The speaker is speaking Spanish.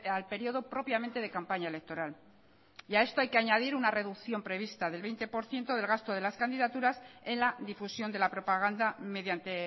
al periodo propiamente de campaña electoral y a esto hay que añadir una reducción prevista del veinte por ciento del gasto de las candidaturas en la difusión de la propaganda mediante